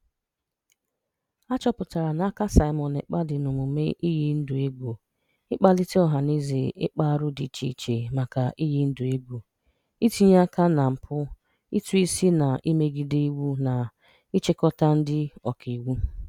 A chọpụtara na aka Simon Ekpa dị n'omume iyi ndụ egwu, ịkpalite ọhanaeze ịkpa arụ dị iche iche maka iyi ndụ egwu, itinye aka na mpụ ụtụisi na imegide iwu na-achịkọta ndị Ọkaiwu.